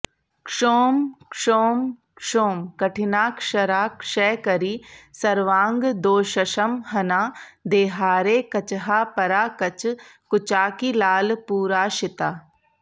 क्षौं क्षौं क्षौं कठिनाक्षरा क्षयकरी सर्वाङ्गदोषंहना देहारेः कचहा परा कचकुचाकीलालपूराशिता